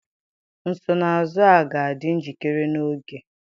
Nsonaazụ a ga-adị njikere n'oge?